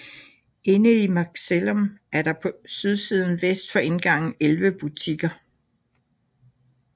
Inde i Macellum er der på sydsiden vest for indgangen elleve butikker